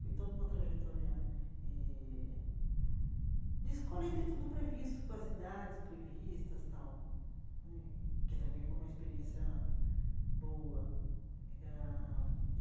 Foi toda uma trajetória eh de escola e dentro do previsto, com as idades previstas tal hum, que também foi uma experiência boa ãh.